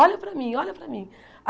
Olha para mim, olha para mim.